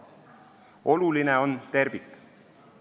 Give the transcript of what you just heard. Oluline on tervik.